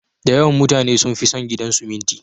Da yawan mutane sun fi son gidan siminti.